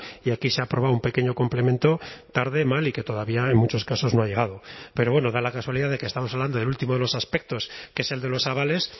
y aquí se ha aprobado un pequeño complemento tarde mal y que todavía en muchos casos no ha llegado pero bueno da la casualidad de que estamos hablando del último de los aspectos que es el de los avales